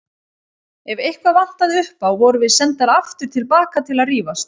Ef eitthvað vantaði upp á vorum við sendar aftur til baka til að rífast.